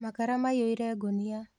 Makara maiyũire ngũnia